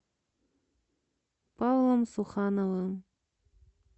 павлом сухановым